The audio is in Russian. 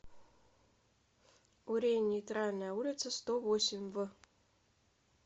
урень нейтральная улица сто восемь в